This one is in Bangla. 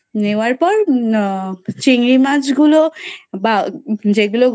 নেওয়ার পর আহ চিংড়ি মাছ গুলো যেই গুলো